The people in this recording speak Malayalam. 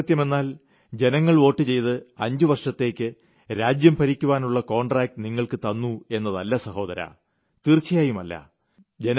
ജനാധിപത്യമെന്നാൽ ജനങ്ങൾ വോട്ടുചെയ്ത് 5 വർഷത്തേയ്ക്ക് രാജ്യം ഭരിയ്ക്കുവാനുള്ള കോൺട്രാക്ട് നിങ്ങൾക്ക് തന്നു എന്നതല്ല സഹോദരാ തീർച്ചയായുമല്ല